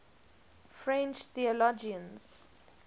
french theologians